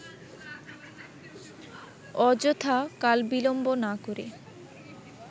অযথা কাল-বিলম্ব না করে